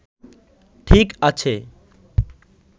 ঠিক আছে